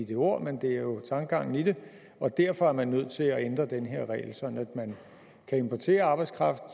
de ord men det er jo tankegangen i det og derfor er man nødt til at ændre den her regel sådan at man kan importere arbejdskraft